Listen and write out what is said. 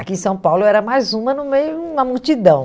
Aqui em São Paulo eu era mais uma no meio de uma multidão.